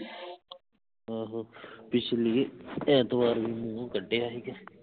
ਆਹੋ ਪਿਛਲੀ ਐਂਤਵਾਰ ਨੂੰ ਉਹ ਕੱਢਿਆ ਸੀ ਕੇ